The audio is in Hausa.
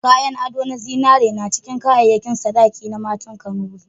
Kayan ado na zinare na cikin kayayyakin sadaki na matan Kanuri.